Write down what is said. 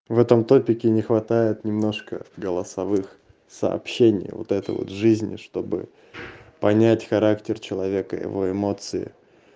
в этом топике не хватает немножко голосовых сообщений вот это вот жизни чтобы понять характер человека его эмоции